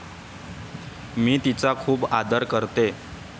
मी तिचा खूप आदर करते.